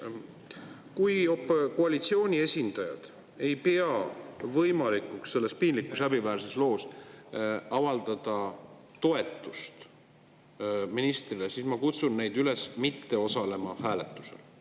Kui koalitsiooni esindajad ei pea võimalikuks selles piinlikus, häbiväärses loos avaldada toetust ministrile, siis ma kutsun neid üles mitte osalema hääletusel.